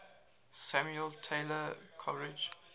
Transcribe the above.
samuel taylor coleridge